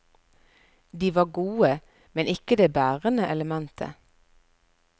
De var gode, men ikke det bærende elementet.